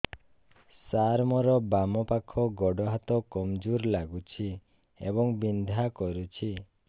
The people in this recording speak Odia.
ସାର ମୋର ବାମ ପାଖ ଗୋଡ ହାତ କମଜୁର ଲାଗୁଛି ଏବଂ ବିନ୍ଧା କରୁଛି